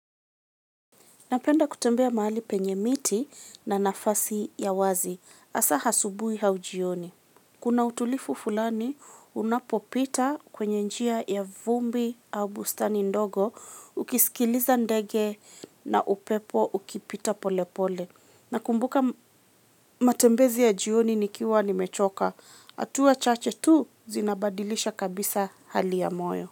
Napenda kutembea mahali penye miti na nafasi ya wazi. Hasa asubuhi au jioni. Kuna utulivu fulani, unapopita kwenye njia ya kivuli au bustani ndogo, ukisikiliza ndege na upepo ukipita pole pole. Nakumbuka matembezi ya jioni nikiwa nimechoka. Hatua chache tu zinabadilisha kabisa hali ya moyo.